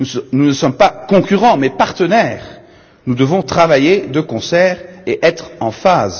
Nous ne sommes pas concurrents, mais partenaires, nous devons travailler de concert et être en phase.